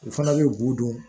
U fana bɛ b'u dɔn